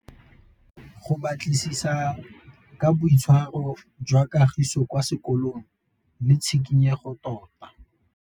Go batlisisa ka boitshwaro jwa Kagiso kwa sekolong ke tshikinyêgô tota.